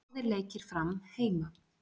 Báðir leikir Fram heima